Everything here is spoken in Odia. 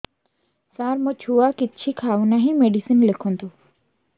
ସାର ମୋ ଛୁଆ କିଛି ଖାଉ ନାହିଁ ମେଡିସିନ ଲେଖନ୍ତୁ